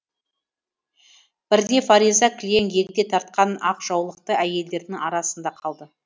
бірде фариза кілең егде тартқан ақ жаулықты әйелдердің арасында қалды